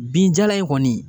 Binjalan in kɔni